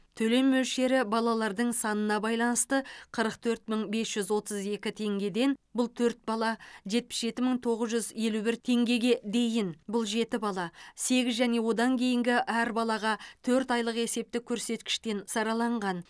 төлем мөлшері балалардың санына байланысты қырық төрт мың бес жүз отыз екі теңгеден бұл төрт бала жетпіс жеті мың тоғыз жүз елу бір теңгеге дейін бұл жеті бала сегіз және одан кейінгі әр балаға төрт айлық есептік көрсеткіштен сараланған